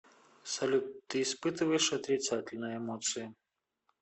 салют ты испытываешь отрицательные эмоции